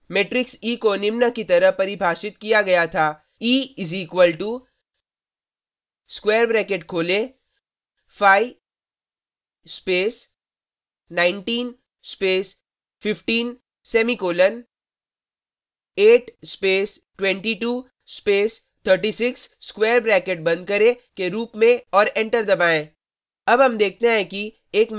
matrix e को निम्न की तरह परिभाषित किया गया था e is equal to square bracket खोलें 5 space space semicolon 8 space 22 space 36 square bracket बंद करें के रूप में और एंटर दबाएँ